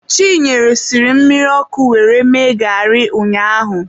Chinenye siri mmiri ọkụ were mee garị ụnyaahụ.